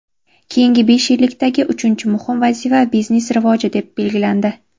Keyingi besh yillikdagi uchinchi muhim vazifa biznes rivoji deb belgilandi.